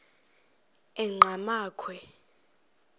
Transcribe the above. enqgamakhwe